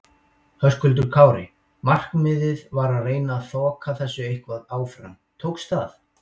Höskuldur Kári: Markmiðið var að reyna þoka þessu eitthvað áfram, tókst það?